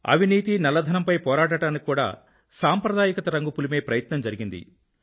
అవినీతి మరియు నల్లధనం పై పోరాటానికి కూడా సాంప్రదాయకత రంగు పులిమే ప్రయత్నం జరిగింది